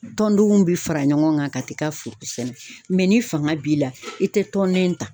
Tɔndenw bi fara ɲɔgɔn kan ka t'i ka foro sɛnɛ, [,cs] ni fanga b'i la ,i te tɔn nin ta